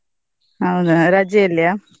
ಹೌದಾ ರಜೆ ಅಲ್ಲಿಯ?